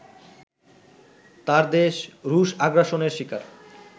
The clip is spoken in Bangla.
তার দেশ রুশ আগ্রাসনের শিকার